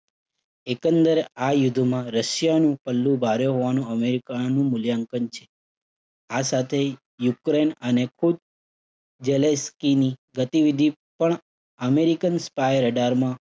આ યુદ્ધમાં રશિયાનું પલ્લું ભારે હોવાનું અમેરિકાનું મૂલ્યાંકન છે. આ સાથે યુક્રેઇન આને ખુદ ઝેલેવ્સ્કીની ગતિવિધિ પણ American spy radar માં